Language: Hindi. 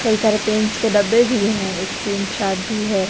कई सारे पेंट्स के डब्बे भी हैं एक पेंट चार्ट भी है।